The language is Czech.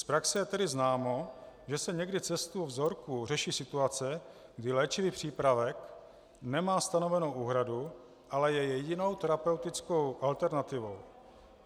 Z praxe je tedy známo, že se někdy cestou vzorků řeší situace, kdy léčivý přípravek nemá stanovenou úhradu, ale je jedinou terapeutickou alternativou.